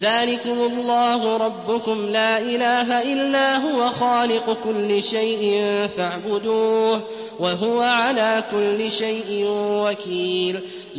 ذَٰلِكُمُ اللَّهُ رَبُّكُمْ ۖ لَا إِلَٰهَ إِلَّا هُوَ ۖ خَالِقُ كُلِّ شَيْءٍ فَاعْبُدُوهُ ۚ وَهُوَ عَلَىٰ كُلِّ شَيْءٍ وَكِيلٌ